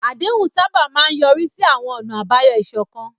Àdéhùn sábà máa ń yọrí sí àwọn ọ̀nà àbáyọ ìṣọ̀kan.